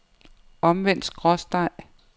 omvendt skråstreg